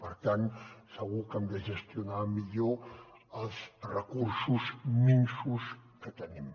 per tant segur que hem de gestionar millor els recursos minsos que tenim